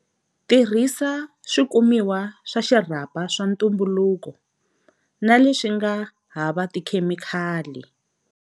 Tirhisa swikumiwa swa xirhapa swa ntumbuluko na leswi nga hava tikhemikali.